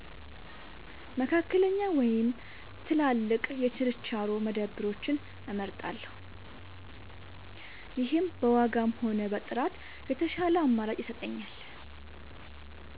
መካከለኛ ወይም ትላልቅ የችርቻሮ መደብሮችን እመርጣለሁ። ይህም በዋጋም ሆነ በጥራት የተሻለ አማራጭ ይሰጠኛል።